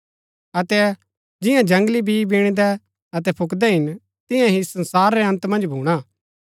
अतै जिंआ जंगली बी बीणदै अतै फुकदै हिन तियां ही संसार रै अन्त मन्ज भूणा